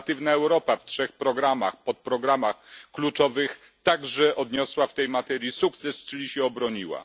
Kreatywna Europa w trzech podprogramach kluczowych także odniosła w tej materii sukces, czyli się obroniła.